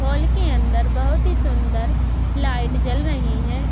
Hall के अंदर बोहोत ही सुंदर लाइट जल रहीं हैं।